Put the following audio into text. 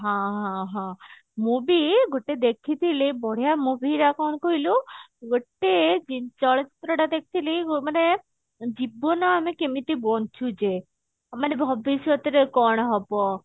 ହଁ ହଁ ହଁ ମୁଁ ବି ଗୋଟେ ଦେଖିଥିଲି ବଢିଆ movie ର କଣ କହିଲୁ ଗୋଟେ ଚଳଚିତ୍ରଟା ଦେଖିଥିଲି ଊ ମାନେ ଜୀବନ ଆମେ କେମିତେ ବଞ୍ଚୁଚେ ମାନେ ଭବିଷ୍ୟତରେ ଆଉ କଣ ହବ